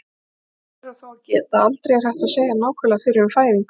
Þess ber þó að gæta, að aldrei er hægt að segja nákvæmlega fyrir um fæðingu.